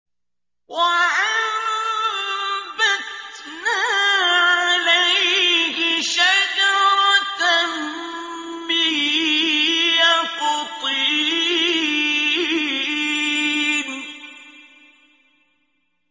وَأَنبَتْنَا عَلَيْهِ شَجَرَةً مِّن يَقْطِينٍ